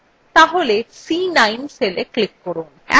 তাহলে c9 cellএ click করুন